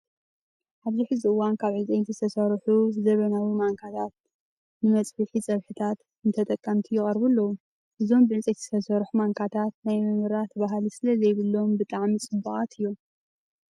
ኣብዚ ሕዚ እዋን ካብ ዕንፀይቲ ዝተሰርሑ ዘበናዊ ማንካታታት መፅቢሒ ፀብሕታትን ንተጠቀምቲ ይቀርቡ ኣለው። እዞም ብዕንፀይቲ ዝተሰርሑ ማንካታት ናይ ምምራት ባህሊ ስለዘይብሎም ብጣዕሚ ፅቡቃት እዮም።